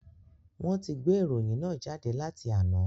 Wọn ti gbé ìròyìn náà jáde láti àná